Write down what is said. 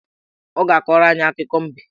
Ọ ga-akọrọ anyị akụkọ mbe